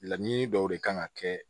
Laɲini dɔw de kan ka kɛ